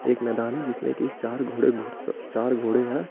एक मैदान है जिसमें की चार घोड़े घुड़सवार चार घोड़े है।